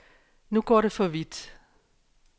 Nu går det for vidt.